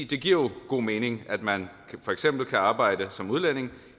det giver jo god mening at man for eksempel kan arbejde som udlænding